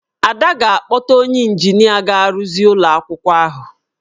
Ada ga-akpọta onye ịnjinịa ga-arụzi ụlọ akwụkwọ ahụ